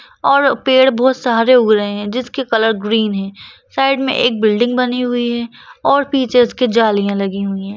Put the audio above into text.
और पेड़ बहुत सारे उग रहे हैं जिसके कलर ग्रीन है साइड में एक बिल्डिंग बनी हुई है और पीछे इसकी जालियां लगी हुई है।